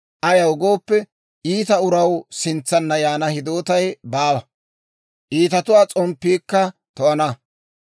Ayaw gooppe, iita uraw sintsanna yaana hidootay baawa; iitatuwaa s'omppiikka to'ana.